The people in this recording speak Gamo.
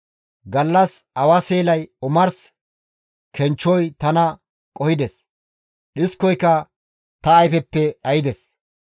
Gallas awa seelay, omars kenchchoy tana qohides; dhiskoyka ta ayfeppe dhaydes.